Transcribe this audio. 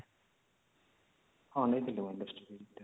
ହଁ ନାଇଁ ଦୀଲବା industry